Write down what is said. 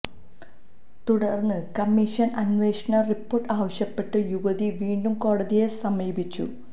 തുടര്ന്ന് കമ്മീഷന് അന്വേഷണ റിപ്പോര്ട്ട് ആവശ്യപ്പെട്ട് യുവതി വീണ്ടും കോടതിയെ സമീപിച്ചു